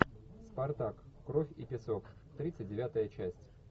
спартак кровь и песок тридцать девятая часть